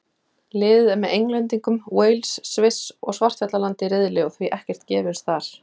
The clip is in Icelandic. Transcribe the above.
Liðið er með Englendingum, Wales, Sviss og Svartfjallalandi í riðli og því ekkert gefins þar.